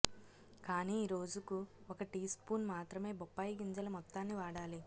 కానీ రోజుకు ఒక టీ స్పూన్ మాత్రమే బొప్పాయి గింజల మొత్తాన్ని వాడాలి